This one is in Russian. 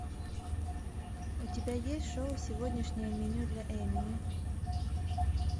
у тебя есть шоу сегодняшнее меню для эмии